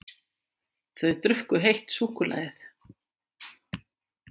Þau drukku heitt súkkulaðið.